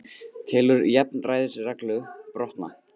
Telur jafnræðisreglu brotna